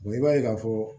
i b'a ye ka fɔ